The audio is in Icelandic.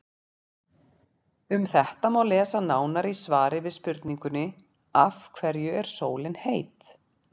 Um þetta má lesa nánar í svari við spurningunni Af hverju er sólin heit?.